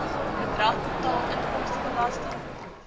bedrag betaal inkomstebelasting